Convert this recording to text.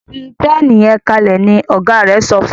fí Pẹ́ẹ̀nì yen kalẹ! ní ọgá rẹ sọfún.